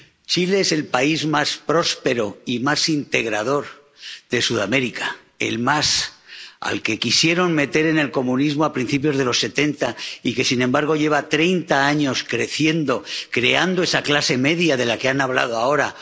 Chile es el país más próspero y más integrador de Sudamérica —el que más—, al que quisieron meter en el comunismo a principios de los setenta y que, sin embargo, lleva treinta años creciendo, creando esa clase media de la que han hablado ahora